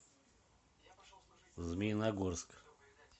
змеиногорск